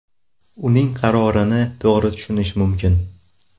Uning qarorini to‘g‘ri tushunish mumkin.